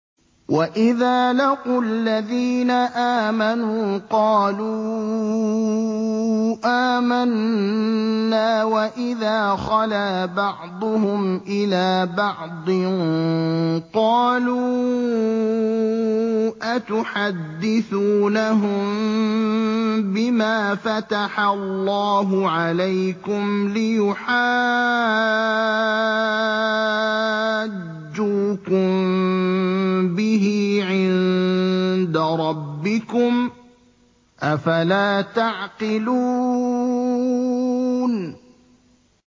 وَإِذَا لَقُوا الَّذِينَ آمَنُوا قَالُوا آمَنَّا وَإِذَا خَلَا بَعْضُهُمْ إِلَىٰ بَعْضٍ قَالُوا أَتُحَدِّثُونَهُم بِمَا فَتَحَ اللَّهُ عَلَيْكُمْ لِيُحَاجُّوكُم بِهِ عِندَ رَبِّكُمْ ۚ أَفَلَا تَعْقِلُونَ